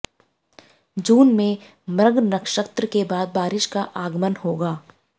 जून में मृग नक्षत्र के बाद बारिश का आगमन होगा